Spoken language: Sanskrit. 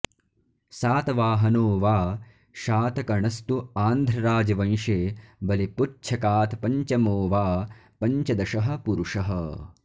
सातवाहनो वा शातकणस्तु आन्ध्रराजवंशे बलिपुच्छकात्पञ्चमो वा पञ्चदशः पुरुषः